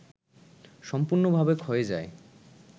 সম্পূর্ণ‌ভাবে ক্ষয়ে যায়